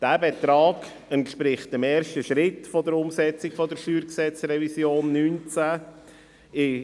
Dieser Betrag entspricht dem ersten Schritt der Umsetzung der StG-Revision 2019.